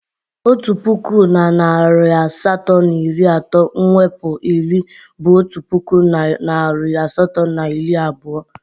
Otu puku na narị asatọ na iri atọ mwepu iri bụ otu puku na narị asatọ na iri abụọ.